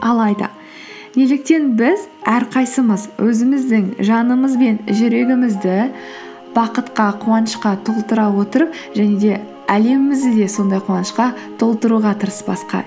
алайда неліктен біз әрқайсымыз өзіміздің жанымыз бен жүрегімізді бақытқа қуанышқа толтыра отырып және де әлемімізді де сондай қуанышқа толтыруға тырыспасқа